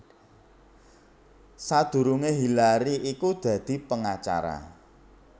Sadurungé Hillary iku dadi pengacara